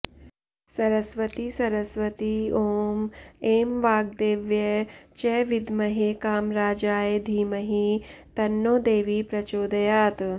सरस्वती सरस्वती ॐ ऐं वाग्देव्यै च विद्महे कामराजायै धीमहि तन्नो देवी प्रचोदयात्